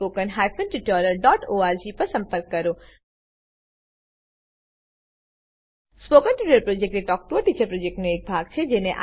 spoken tutorial project talk to a teacher પ્રોજેક્ટનો એક ભાગ છે